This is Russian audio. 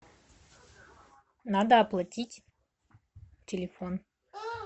надо оплатить телефон